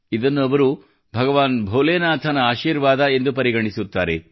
ಇದನ್ನು ಅವರು ಭಗವಾನ್ ಭೋಲೆನಾಥನ ಆಶೀರ್ವಾದ ಎಂದು ಅವರು ಪರಿಗಣಿಸುತ್ತಾರೆ